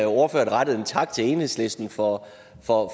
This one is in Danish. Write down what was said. ordføreren rettede en tak til enhedslisten for for